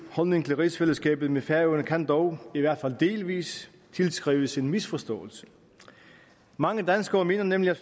holdning til rigsfællesskabet med færøerne kan dog i hvert fald delvis tilskrives en misforståelse mange danskere mener nemlig